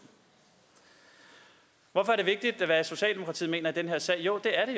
hvorfor er det vigtigt hvad socialdemokratiet mener i den her sag jo det er